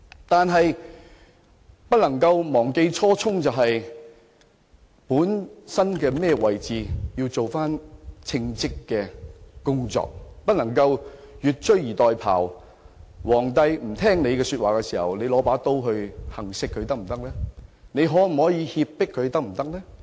但是，我們不能忘記初衷，本來在甚麼位置，便應要做與該位置相稱的工作，不能越俎代庖，當皇帝不聽從你意見時便持刀行刺或脅迫他，可以這樣做的嗎？